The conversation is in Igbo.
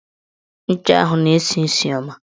Ncha ahụ na-esi isi ọma